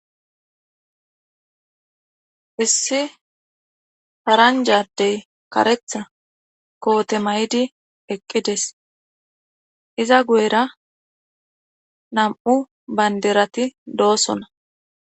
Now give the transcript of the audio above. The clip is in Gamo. issi paranja addey karetha koote maydi eqqides iza guyera nam7u baynderati doosona